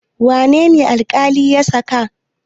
Wane ne alƙali ya saka?